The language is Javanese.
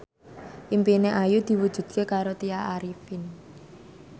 impine Ayu diwujudke karo Tya Arifin